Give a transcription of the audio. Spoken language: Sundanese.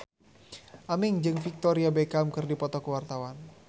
Aming jeung Victoria Beckham keur dipoto ku wartawan